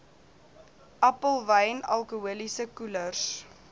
appelwyn alkoholiese koelers